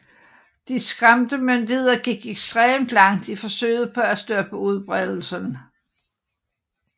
De skræmte myndigheder gik ekstremt langt i forsøget på at stoppe udbredelsen